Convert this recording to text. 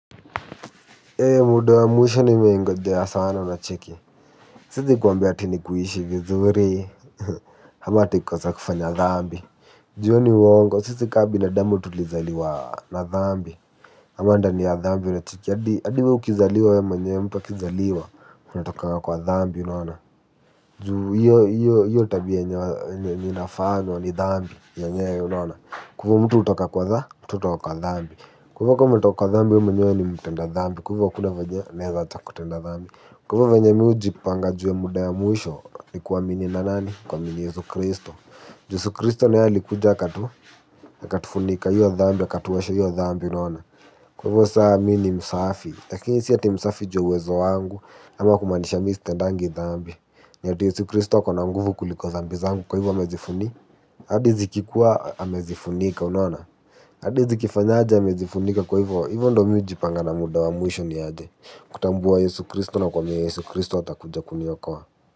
Eee muda wa mwisho nimeingojea sana unacheki. Siwezi kwambia ati ni kuishi vizuri. Ama ati kukosa kufanya thambi. Juu huo ni uwongo. Sisi kama binadamu tulizaliwa na thambi. Ama ndani ya thambi. Unacheki hadi hadi wewe ukizaliwa wewe mwenye, mtu akizaliwa anatoka kwa thambi unaona. Juu hio tabiai inafanywa ni thambi yenyewe unona. Kwa hivo mtu hutoka kwa thambi. Kwa hivo kama umetoka kwa thambi wewe mwenye ni mtenda thambi. Kwa hivo hakuna vyenye unaweza acha kufanya thambi. Kwa hivo vyenye mimi hujipanga muda wa mwisho ni kuamini nani. Kuamini Yesu Kristo. Yesu Kristo na yeye alikuja akatu akatufunika hio thambi. Akatuosha hio dhambi unaona. Kwa hivyo sasa mimi ni msafi, lakini si ati msafi juu ya uwezo wangu, ama kumaanisha mimi sitendangi dhambi. Ni ati Yesu Kristo akona nguvu kuliko dhambi zangu. Kwa hivo amezifunika. Hadi zikikuwa amezifunika unaona. Hadii zikifanya aje amezifunika. Kwa hivyo, hivo ndio mimi hujipanga na muda wa mwisho niaje. Kutambua Yesu Kristo na kuamini Yesu Kristo atakuja kuniokoa.